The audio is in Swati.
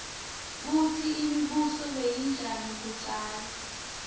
kutsi imibuso beyinjani kudzala